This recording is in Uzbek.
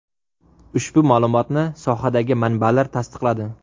Ushbu ma’lumotni sohadagi manbalar tasdiqladi.